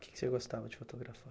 Que que você gostava de fotografar?